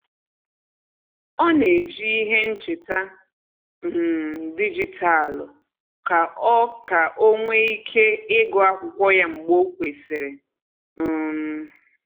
Ọ na eji ihe ncheta um dijitalụ ka o ka o nwee ike ịgụ akwụkwọ ya mgbe o kwesịrị um